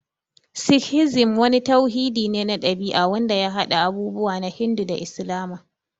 Sikhizim wani tauhidi ne na ɗabi'a wanda ya haɗa abubuwa na Hindu da Islama.